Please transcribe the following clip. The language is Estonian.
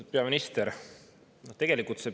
Lugupeetud peaminister!